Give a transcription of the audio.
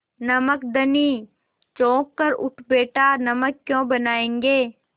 नमक धनी चौंक कर उठ बैठा नमक क्यों बनायेंगे